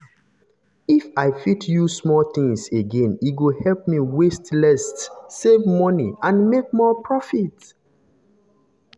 if i fit use things again e go help me waste less save money and make more profit.